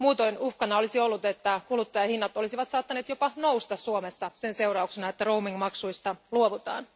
Muutoin uhkana olisi ollut, että kuluttajahinnat olisivat saattaneet jopa nousta Suomessa sen seurauksena, että roaming maksuista luovutaan.